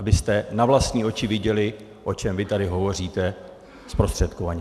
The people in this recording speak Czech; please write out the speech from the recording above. Abyste na vlastní oči viděli, o čem vy tady hovoříte zprostředkovaně.